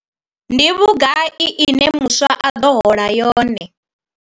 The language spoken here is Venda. Ndi vhugai ine muswa a ḓo hola yone?